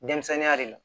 Denmisɛnninya de la